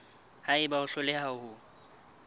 ha eba o hloleha ho